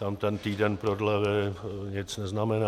Tam ten týden prodlevy nic neznamená.